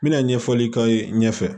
N bɛna ɲɛfɔli k'aw ye ɲɛfɛ